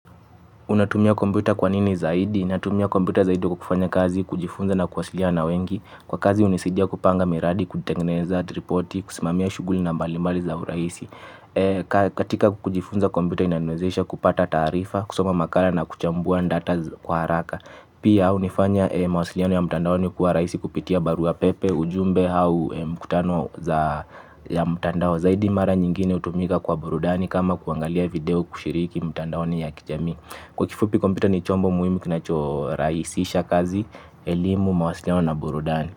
Unatumia kompyuta kwa nini zaidi? Natumia kompyuta zaidi kwa kufanya kazi, kujifunza na kwasiliana wengi. Kwa kazi hunisidia kupanga miradi, kutengeneza, ripoti, kusimamia shughuli mbalimbali kwa urahisi. Katika kujifunza kompyuta inaniwezesha kupata taarifa, kusoma makala na kuchambua ndata kwa haraka. Pia hufanya mawasiliano ya mtandaoni kua rahisi kupitia barua pepe, ujumbe au mkutano ya mtandao. Zaidi mara nyingine hutumika kwa burudani kama kwa kuangalia video na kushiriki mitaoni ya kijamii. Kwa kifupi kompyuta ni chombo muhimu kinacho rahisisha kazi, elimu, mawasiliano na burudani.